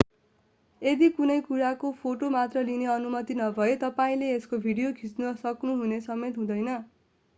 यदि कुनै कुराको फोटो मात्र लिने अनुमति नभए तपाईंले यसको भिडियो खिच्ने सोच्नु समेत हुँदैन